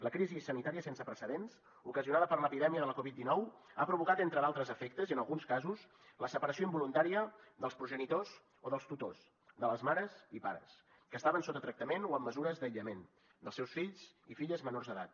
la crisi sanitària sense precedents ocasionada per l’epidèmia de la covid dinou ha provocat entre d’altres efectes i en alguns casos la separació involuntària dels progenitors o dels tutors de les mares i pares que estaven sota tractament o amb mesures d’aïllament dels seus fills i filles menors d’edat